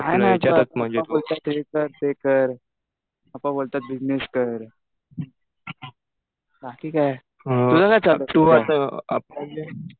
काही नाही. पप्पा बोलतात हे कर ते कर. पप्पा बोलतात बिजनेस कर. बाकी काय, तुझं काय चालू आहे? तु आता म्हणजे